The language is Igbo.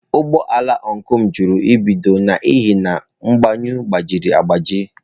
Ụgbọ ala ọncụl m jụrụ ibido n'ihi na mgbanyụ agbajiri agbaji.